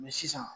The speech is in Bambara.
sisan